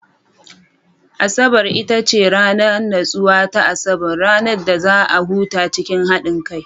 Asabar ita ce ranar natsuwa ta Asabar, ranar da za a huta cikin haɗin kai.